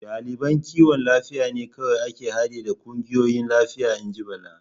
Daliban kiwon lafiya ne kawai ke hade da kungiyoyin lafiya, in ji Bala.